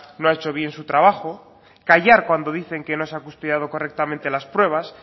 no ha hecho bien su trabajo callar cuando dicen que no se ha custodiado correctamente las pruebas